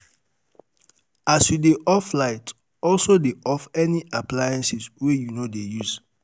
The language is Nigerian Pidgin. as you dey off light also dey off any um appliance wey yu um no dey use